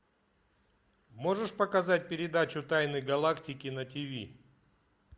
можешь показать передачу тайны галактики на тв